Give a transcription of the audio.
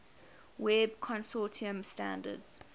web consortium standards